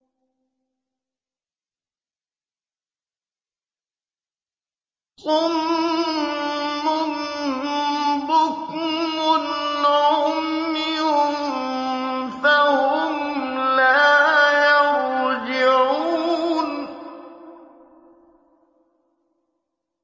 صُمٌّ بُكْمٌ عُمْيٌ فَهُمْ لَا يَرْجِعُونَ